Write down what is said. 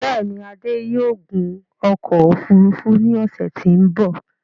Bẹ́ẹ̀ni, Adé yóò gun ọkọ̀ òfurufú ní ọ̀ṣẹ̀ tí ó m̀bọ̀